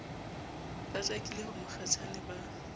ba jakile ho mokgatjhane ba